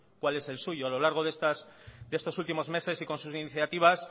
cuál es el suyo a lo largo de estos últimos meses y con sus iniciativas